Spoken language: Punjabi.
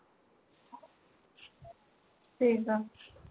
ਠੀਕ ਆ